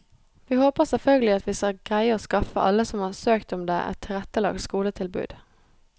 Vi håper selvfølgelig at vi skal greie å skaffe alle som har søkt om det, et tilrettelagt skoletilbud.